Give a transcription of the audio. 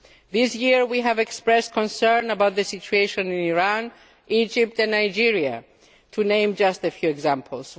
This year we have expressed concern about the situation in Iran, Egypt and Nigeria, to name just a few examples.